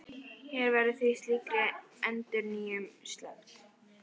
Hér verður því slíkri endurnýjun sleppt.